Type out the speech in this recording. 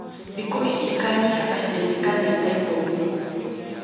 Thikũ ici ikanyiha kahinda inĩ ka mĩaka ikũmi